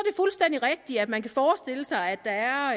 fuldstændig rigtigt at man kan forestille sig at der